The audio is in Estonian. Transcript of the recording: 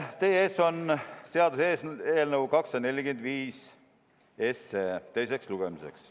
Teie ees on seaduseelnõu 245 teiseks lugemiseks.